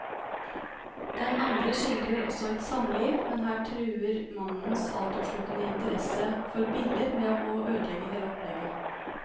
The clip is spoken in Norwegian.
Den andre skildrer også et samliv, men her truer mannens altoppslukende interesse for biller med å ødelegge hele opplegget.